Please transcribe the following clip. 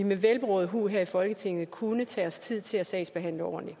med velberåd hu her i folketinget kunne tage os tid til at sagsbehandle ordentligt